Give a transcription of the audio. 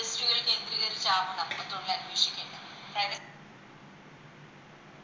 പഠിച്ച് കഴിഞ്ഞ എന്തിലൊക്കെ ആവണം ഒരു തൊഴിൽ അന്വേഷിക്കുന്നെ അതായത്